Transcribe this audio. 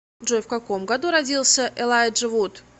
джой в каком году родился элайджа вуд